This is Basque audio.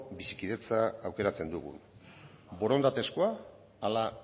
bizikidetza aukeratzen dugun borondatezkoa ala